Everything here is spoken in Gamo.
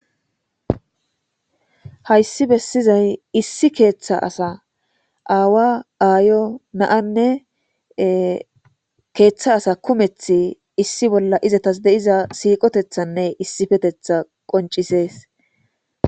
Haysi besizayi issi keetha assa, ayo , aawa , na'anne keetha asa kumethi izetasi de'iza siiqotethanne issipetetha qoncises.